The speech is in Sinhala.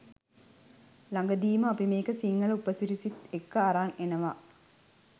ලගදීම අපි මේක සිංහල උපසිරසිත් එක්ක අරන් එනව